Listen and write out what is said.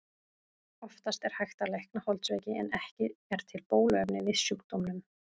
Oftast er hægt að lækna holdsveiki en ekki er til bóluefni við sjúkdómnum.